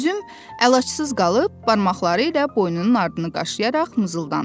Üzüm əlacısız qalıb, barmaqları ilə boynunun ardını qaşıyaraq mızıldandı.